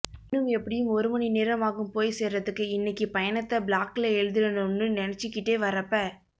இன்னும் எப்டியும் ஒரு மணி நேரம் ஆகும் போய் சேரரதுக்கு இன்னைக்கு பயணத்தை ப்ளாக்ல எழுதிடனும்னு நினைச்சுகிட்டே வர்ரப்ப